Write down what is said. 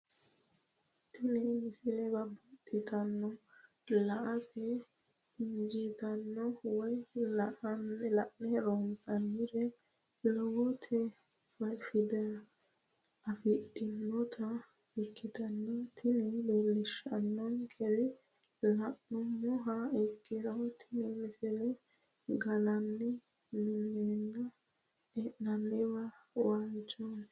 tenne misile baxisannonna la"ate injiitanno woy la'ne ronsannire lowote afidhinota ikkitanna tini leellishshannonkeri la'nummoha ikkiro tini misile gallanni minenna e'nanni waalchooti.